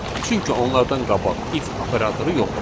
Çünki onlardan qabaq if operatoru yoxdur.